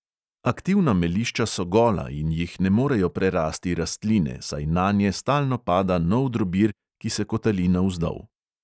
Aktivna melišča so gola in jih ne morejo prerasti rastline, saj nanje stalno pada nov drobir, ki se kotali navzdol.